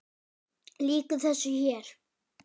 Lýkur þessu hér?